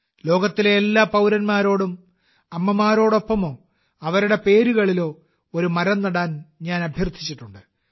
ലോകത്തിലെ എല്ലാ പൌരന്മാരോടും അമ്മമാരോടൊപ്പമോ അവരുടെ പേരുകളിലോ ഒരു മരം നടാൻ ഞാൻ അഭ്യർത്ഥിച്ചിട്ടുണ്ട്